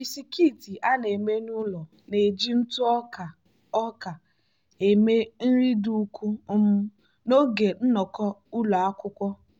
bisikiiti a na-eme n'ụlọ na-eji ntụ ọka ọka eme nri dị ukwuu um n'oge nnọkọ ụlọ akwụkwọ.